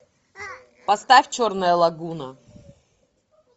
поставь черная лагуна